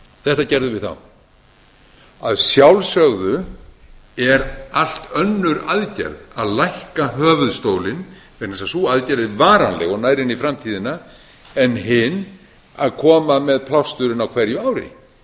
þetta gerðum við þá að sjálfsögðu er allt önnur aðgerð að lækka höfuðstólinn vegna þess að sú aðgerð er varanleg og nær inn í framtíðina en hin að koma með plásturinn á hverju ári